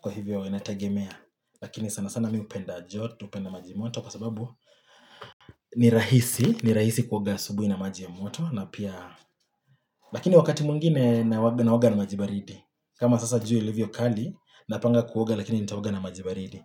Kwa hivyo ina tegemea, lakini sana sana mi hupenda joto, hupenda maji ya moto, kwa sababu ni rahisi, ni rahisi kuoga asubuhi na maji ya moto, na pia, lakini wakati mwingine naoga na maji ya baridi. Kama sasa jua ilivyo kali, napanga kuoga lakini nitaoga na maji baridi.